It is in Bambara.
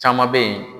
Caman bɛ yen